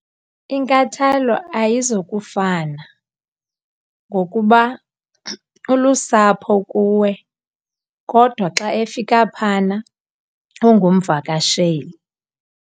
Inkathalo ayizukufana ngokuba ulusapho kuwe kodwa xa efika phana ungumvakasheli.